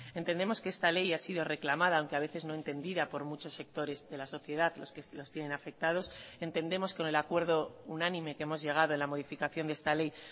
entendemos que esta ley ha sido reclamada aunque a veces no entendida por muchos sectores de la sociedad los que los tienen afectados entendemos con el acuerdo unánime que hemos llegado en la modificación de esta ley